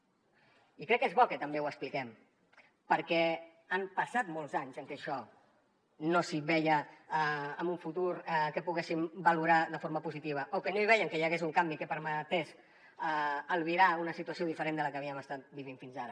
i crec que és bo que també ho expliquem perquè han passat molts anys en què això no s’hi veia en un futur que poguéssim valorar de forma positiva o que no hi vèiem que hi hagués un canvi que permetés albirar una situació diferent de la que havíem estat vivint fins ara